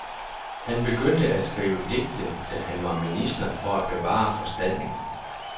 Han begyndte at skrive digte, da han var minister for at bevare forstanden.